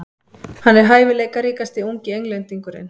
Hann er hæfileikaríkasti ungi Englendingurinn.